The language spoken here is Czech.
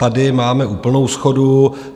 Tady máme úplnou shodu.